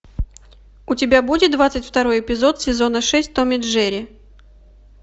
у тебя будет двадцать второй эпизод сезона шесть том и джерри